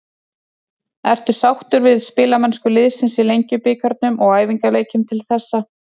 Ertu sáttur við spilamennsku liðsins í Lengjubikarnum og æfingaleikjum til þessa?